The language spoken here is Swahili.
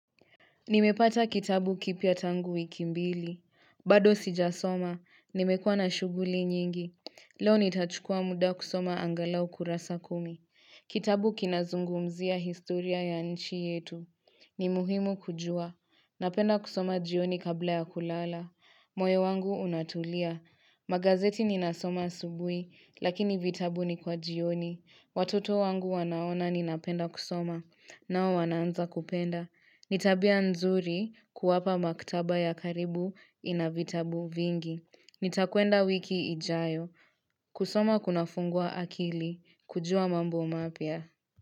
Nimepata kitabu kipya tangu wiki mbili. Bado sijasoma. Nimekuwa na shuguli nyingi. Leo nitachukua muda kusoma angalau kurasa kumi. Kitabu kinazungumzia historia ya nchi yetu. Nimuhimu kujua. Napenda kusoma jioni kabla ya kulala. Moyo wangu unatulia. Magazeti ninasoma asubui, lakini vitabu ni kwa jioni. Watoto wangu wanaona ninapenda kusoma. Nao wanaanza kupenda. Nitabia nzuri kuwapa maktaba ya karibu inavitabu vingi. Nitakuenda wiki ijayo. Kusoma kuna fungua akili. Kujua mambo mapia.